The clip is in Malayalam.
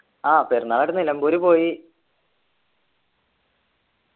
ആഹ് പെരുന്നാൾ ആയിട്ട് നിലമ്പൂര് പോയി